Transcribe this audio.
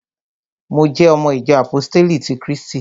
Mo jẹ́ ọmọ ìjọ àpóstélì ti krístì